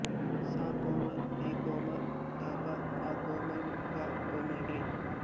ಸ ಕೋಮಲ್ ನಿ ಕೋಮಲ್ ಧ ಪ ಮಾ ಕೋಮಲ್ ಗ ಕೋಮಲ್ ರಿ